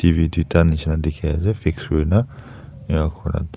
T V tuita neshna dekhe ase fixed kurena enakurena.